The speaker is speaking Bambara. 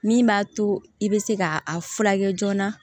Min b'a to i bɛ se ka a furakɛ joona